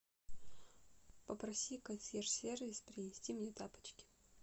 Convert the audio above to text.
попроси консьерж сервис принести мне тапочки